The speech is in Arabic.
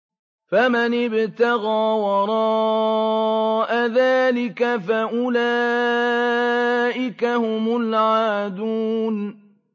فَمَنِ ابْتَغَىٰ وَرَاءَ ذَٰلِكَ فَأُولَٰئِكَ هُمُ الْعَادُونَ